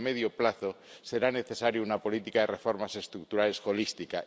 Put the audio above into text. pero, a medio plazo, será necesaria una política de reformas estructurales holística.